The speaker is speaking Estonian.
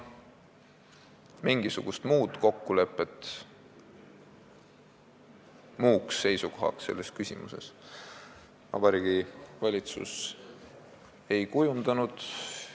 Mingisugust muud kokkulepet, muud seisukohta selles küsimuses Vabariigi Valitsus ei kujundanud.